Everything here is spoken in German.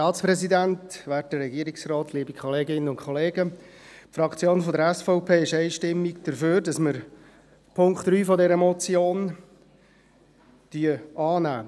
Die SVP-Fraktion ist einstimmig dafür, den Punkt 3 dieser Motion anzunehmen.